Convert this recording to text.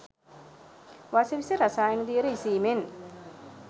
වස විස රසායන දියර ඉසීමෙන්